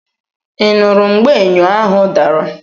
Ị nụrụ mgbe ényò ahụ dara?